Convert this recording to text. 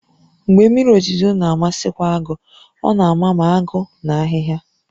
Mgbe mmiri ozuzo na-amakwasị agụ, ọ na-ama ma agụ na ahịhịa